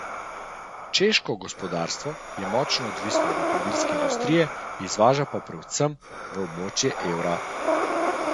Češko gospodarstvo je močno odvisno od avtomobilske industrije, izvaža pa predvsem v območje evra.